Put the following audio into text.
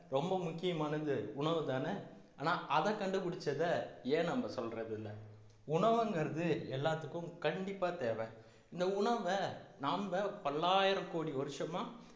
ரொம்ப முக்கியமானது உணவுதானே ஆனா அதை கண்டுபிடிச்சதை ஏன் நம்ம சொல்றது இல்லை உணவுங்கிறது எல்லாத்துக்கும் கண்டிப்பா தேவை இந்த உணவை நம்ப பல்லாயிரம் கோடி வருஷமா